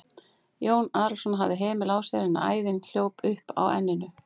Jón Arason hafði hemil á sér en æðin hljóp upp á enninu.